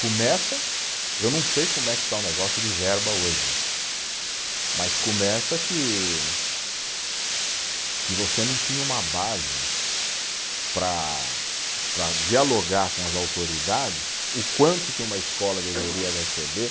Começa, eu não sei como é que está o negócio de verba hoje, mas começa que, que você não tinha uma base para, para dialogar com as autoridades o quanto que uma escola deveria receber